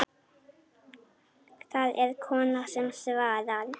Það er kona sem svarar.